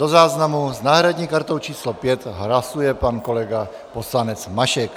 Do záznamu - s náhradní kartou číslo 5 hlasuje pan kolega poslanec Mašek.